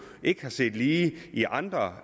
ikke er set lige i andre